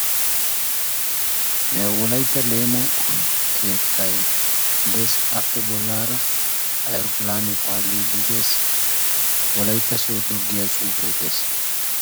wolaytta leemo keettay de"eessi appeka bollara toki paali paalidi de"eessi wolaytta sodo giya xuufekka de"eessi.